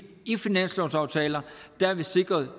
i finanslovsaftaler har vi sikret